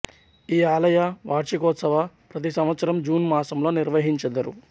ఈ ఆలయ వార్షికోత్సవం ప్రతి సంవత్సరం జూన్ మాసంలో నిర్వహించెదరు